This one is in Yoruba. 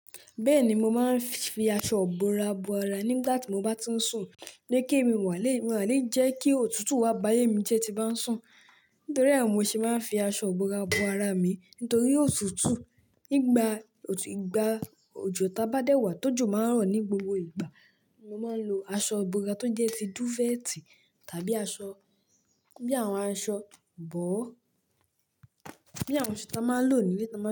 Bẹ́ẹ̀ni, mo máa ń fi aṣọ ìbora bo ara nígbà tí mo bá ti ń sùn. Ni kí èmi wà lé jẹ́ kí òtútù wá bá yé mi jẹ tí bá ń sùn. Nítorí ẹ mò ṣe máa ń fi aṣọ ìbora bo ara mi nítorí òtútù nígbà òjò tá bá dé wà, tó jò máa ń ràn ní gbogbo ìgbà. Mo máa ń lo aṣọ ìbora tó jẹ́ fi duvet tàbí aṣọ bí àwọn aṣọ bọ́ọ̀, bí àwọn aṣọ tá máa ń lò nílé tá máa ń.